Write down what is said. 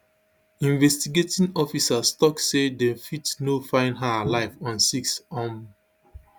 investigating officers tok say dem fit no find her alive on six um